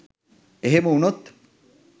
එහෙම වුණොත්